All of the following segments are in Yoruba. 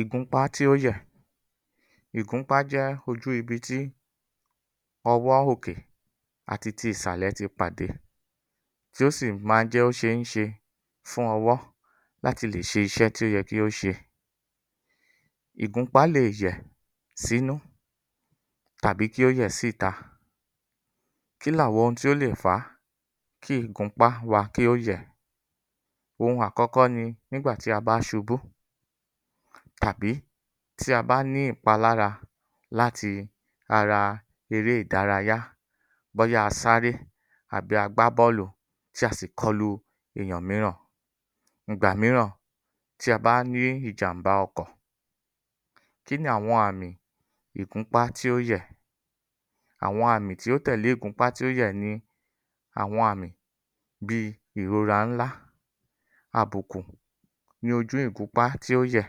Ìgúnpá tí ó yẹ̀. Ìgúnpá jẹ́ ojú ibi tí ọwọ́ òkè àti ti ìsàlẹ̀ ti pàdé tí ó sì má jẹ́ óń ṣeéṣe fún ọwọ́ láti ṣe iṣẹ́ tí ó yẹ kí ó ṣe. Ìgúnpá leè yẹ̀ sínú tàbí kí ó yẹ̀ sí ìta. Kíni àwọn nǹkan tí ó lè fa kí ìgúnpá wa kí ó yẹ̀? Ohun àkọ́kọ́ ni nígbà tí a bá ṣubú tàbí tí a bá ní ìpalára láti ara eré ìdárayá, bóyá a sáré tàbí a gbá bọ́ọ̀lù tí a sì kọlu èyàn mìíràn. Ìgbà mìíràn tí a bá ní ìjàm̀bá ọkọ̀, kí ni àwọn àmì ìgúnpá tí ó yẹ̀? Àwọn àmì tí ó tẹ̀lé ìgúnpá tí ó yẹ̀ ni àwọn àmì bíi ìrora ńlá, àbùkù ní ojú ìgúnpá tí ó yẹ̀,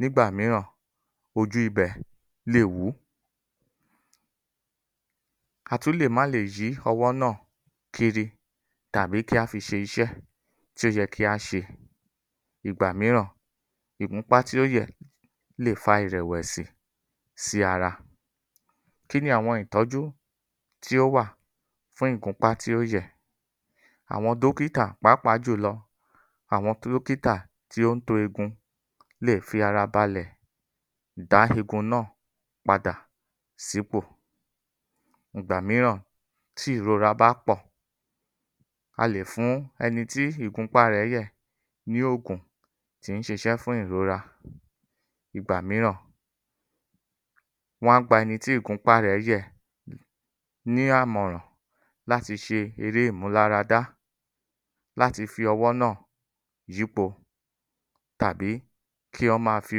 nígbà mìíràn ojú ibẹ̀ leè wùú. A tún lè má leè yí ọwọ́ náà kiri tàbí kí á fi ṣe iṣẹ́ tí ó yẹ kí a ṣe. Ìgbà mìíràn ìgúnpá tí ó yẹ̀ leè fa ìrẹ̀wẹ̀sì sí ara. Kí ni àwọn ìtọ́jú tí ó wà fún ìgúnpá tí ó yẹ̀? Àwọn dọ́kítà pàápàá jùlọ àwọn tí ó ń to eegun lè fi ara balẹ̀ dá egun náà padà sípò. Ìgbà mìíràn tí ìrora bá pọ̀, a lè fún ẹni tí ìgúnpá rẹ̀ yẹ̀ ní ògùn tí ń ṣiṣẹ́ fún ìrora. Ìgbà mìíràn wọ́n á gba ẹni tí ìgúnpá rẹ̀ yẹ́ẹ̀ ní àmọ̀ràn láti ṣe eré ìmúláradá láti fi ọwọ́ náà yípo tàbí kí ó máa fi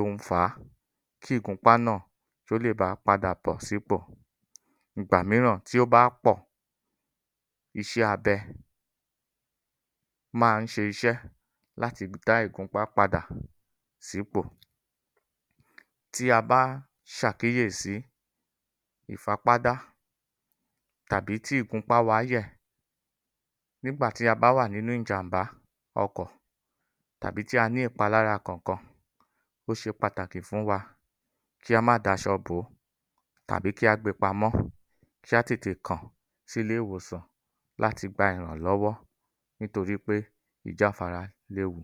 ohun fàá kí ìgúnpá náà kí ó lè baà padà bọ́ sípò. Ìgbà mìíràn tí ó bá pọ̀, iṣẹ́ abẹ máa ń ṣe iṣẹ́ láti dá ìgúnpá padà sípò. Tí a bá ṣàkíyèsi ìfapádá tàbí tí ìgúnpá wa yẹ̀ nígbà tí a bá wà nínú ìjàm̀bá ọkọ̀ tàbí tí a ní ìpalára Kankan, ó ṣe pàtàkì fún wa kí a má daṣọ bòó tàbí kí á gbe pamọ́, kí á tètè kàn sí ilé ìwòsàn láti gba ìrànlọ́wọ́ nítorí pé ìjáfara léwu.